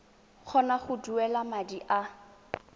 kgona go duela madi a